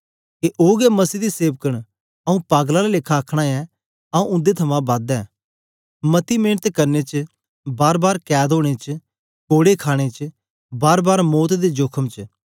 के ओ गै मसीह दे सेवक नआंऊँ पागल आला लेखा आखन ऐं आंऊँ उन्दे थमां बद ऐं मती मेंनत करने च बारबार कैद ओनें च कोड़े खाणे च बारबार मौत दे जोखम च